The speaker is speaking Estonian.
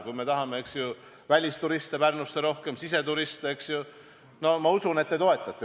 Kui me tahame Pärnusse rohkem välisturiste või ka siseturiste, siis ma usun, et te toetate.